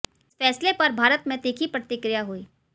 इस फैसले पर भारत में तीखी प्रतिक्रिया हुई